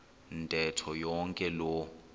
ntetho yonke loo